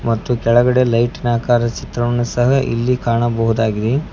ಮತ್ತು ಕೆಳಗಡೆ ಲೈಟ್ ನ ಆಕಾರ ಚಿತ್ರವನ್ನು ಸಹ ಇಲ್ಲಿ ಕಾಣಬಹುದಾಗಿದೆ.